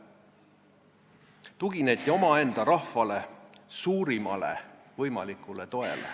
Tugineti omaenda rahvale, suurimale võimalikule toele.